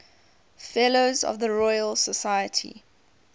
fellows of the royal society